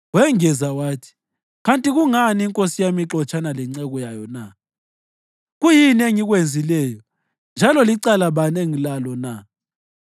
Wengeza wathi, “Kanti kungani inkosi yami ixotshana lenceku yayo na? Kuyini engikwenzileyo, njalo licala bani engilalo na?